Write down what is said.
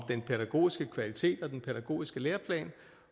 den pædagogiske kvalitet og den pædagogiske læreplan